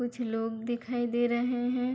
कुछ लोग दिखाई दे रहे हैं।